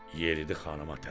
Yeridi xanıma tərəf.